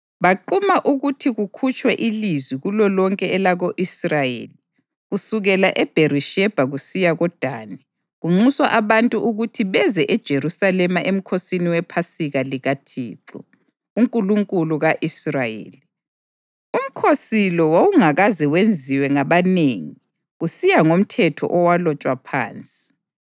Baquma ukuthi kukhutshwe ilizwi kulolonke elako-Israyeli kusukela eBherishebha kusiya koDani, kunxuswa abantu ukuthi beze eJerusalema emkhosini wePhasika likaThixo, uNkulunkulu ka-Israyeli. Umkhosi lo wawungakaze wenziwe ngabanengi kusiya ngomthetho owalotshwa phansi.